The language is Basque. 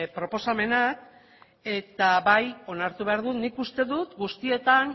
proposamenak eta bai onartu behar dut nik uste guztietan